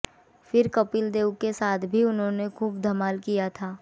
फिर कपिल देव के साथ भी उन्होंने खूब धमाल किया था